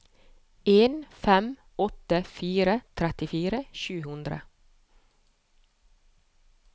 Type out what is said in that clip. en fem åtte fire trettifire sju hundre